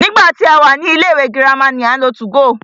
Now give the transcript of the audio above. Nígbà tí a wà ní ilé ìwé girama ni à ń lo 2go.